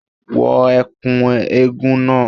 Wọ ẹ̀kú eégún náà